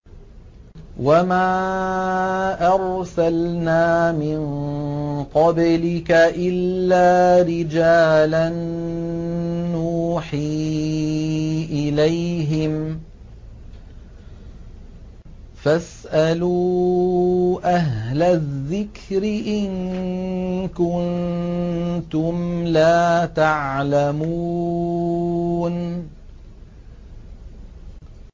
وَمَا أَرْسَلْنَا مِن قَبْلِكَ إِلَّا رِجَالًا نُّوحِي إِلَيْهِمْ ۚ فَاسْأَلُوا أَهْلَ الذِّكْرِ إِن كُنتُمْ لَا تَعْلَمُونَ